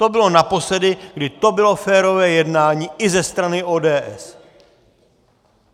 To bylo naposledy, kdy to bylo férové jednání i ze strany ODS.